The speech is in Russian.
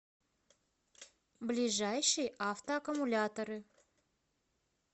ближайший автоаккумуляторы